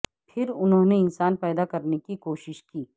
پھر انہوں نے انسان پیدا کرنے کی کوشش کی